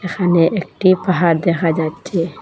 এখানে একটি পাহাড় দেখা যাচ্ছে।